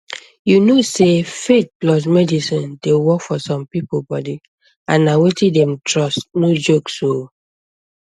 you know sey faith plus medicine dey work for some people body and na wetin dem trust no jokes oh